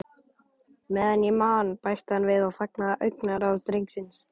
Meðan ég man- bætti hann við og fangaði augnaráð drengsins.